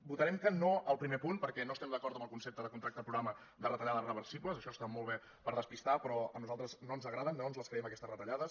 votarem que no al primer punt perquè no estem d’acord amb el concepte de contracte programa de re·tallades reversibles això està molt bé per despistar però a nosaltres no ens agraden no ens les creiem aquestes retallades